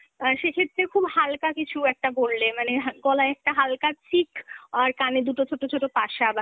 অ্যাঁ সেক্ষেত্রে খুব হালকা কিছু একটা পরলে মানে, গলায় একটা হালহা chick আর কানে দুটো ছোটো ছোটো পাসা